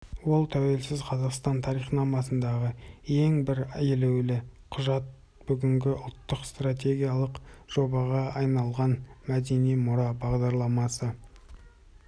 ол тәуелсіз қазақстан тарихнамасындағы ең бір елеулі құжат бүгінде ұлттық стратегиялық жобаға айналған мәдени мұра бағдарламасы